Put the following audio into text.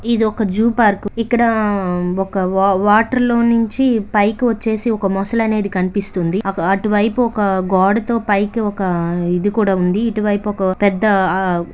ఇది ఒక zoo park. ఇక్కడ ఒక వాటర్ లో నుంచి పైకి వచ్చేసి ఒక మొసలి అనేది కనిపిస్తుంది. అటువైపు ఒక గోడతో పైకి ఒక ఇది కూడా ఉంది. ఇటువైపు ఒక పెద్ద--